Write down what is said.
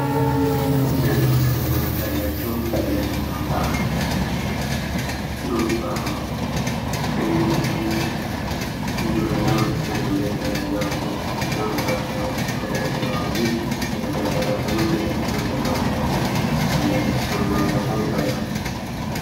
ደማቅ ቀለማት ያላቸው እንደ ሰላጣ፣ ዱባ፣ ኤግፕላንት፣ እንጆሪና ብርቱካን ያሉ የተለያዩ አትክልቶችና ፍራፍሬዎች ተደርድረዋል፤ ይህ የተትረፈረፈ ምርት የተፈጥሮን ጸጋ በማሳየት ታላቅ ደስታንና እርካታን ይፈጥራል።